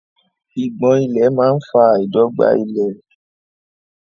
Ìgbọ̀n ìlẹ̀ máa fa àìdọ́gba ilẹ̀.